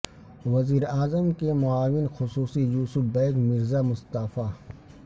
وزیراعظم کے معاون خصوصی یوسف بیگ مرز ا مستعفی